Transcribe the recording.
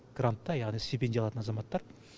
грантта яғни стипендия алатын азаматтар